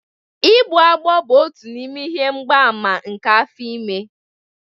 Vomitting bụ otu n'ime ihe mgbaàmà nke afọ ime